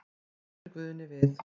Bætir Guðni við.